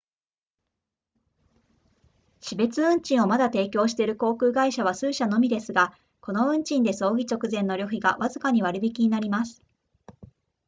死別運賃をまだ提供している航空会社は数社のみですがこの運賃で葬儀直前の旅費がわずかに割り引きになります